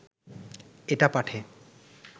এটা পাঠে